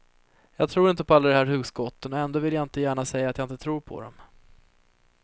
Jag tror inte på alla de här hugskotten, och ändå vill jag inte gärna säga att jag inte tror på dem.